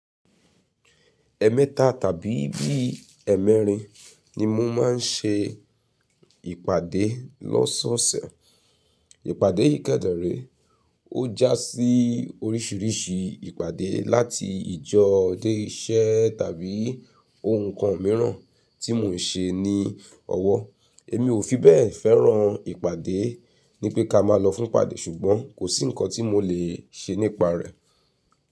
Ẹ̀ẹ̀mẹta tàbí bí i ẹ́ẹ̀mẹrin ni mo máa ń ṣe ìpàdé lọ́sọ̀ọ̀sẹ̀. Ìpàdé yiì kéderè ọ́ já sí oríṣìíríṣìí ìpàdé láti ìjọ dé iṣẹ́ tàbí ohun kan mìíràn tí mò ń ṣe ní ọwọ́. Èmi ò fi bẹ́ẹ̀ fẹ́ràn ìpàdé, ní pé ká máa lọ fún ìpàdé ṣùgbọ́n kò sí nǹkan tí mo lè ṣe nípa rẹ̀.